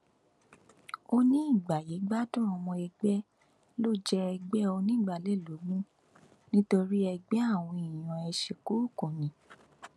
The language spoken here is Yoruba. ó ní ìgbáyégbádùn ọmọ ẹgbẹ ló jẹ ẹgbẹ onígbàálẹ lógún nítorí ẹgbẹ àwọn èèyàn ẹsẹkúùkù ni